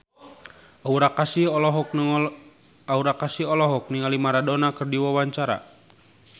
Aura Kasih olohok ningali Maradona keur diwawancara